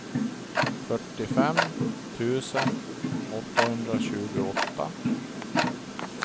fyrtiofem tusen åttahundratjugoåtta